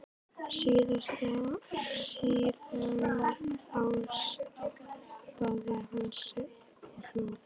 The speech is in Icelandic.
Síðan áttaði hann sig og hló.